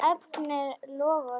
Hann efnir loforð sitt.